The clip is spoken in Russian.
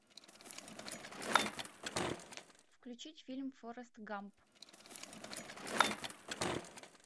включить фильм форест гамп